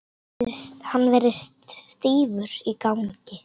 Hann virtist stífur í gangi.